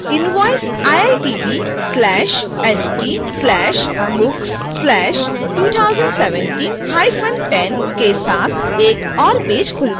शीर्षक invoice: iitb/st/books/201710 के साथ एक ओर पेज खुलता है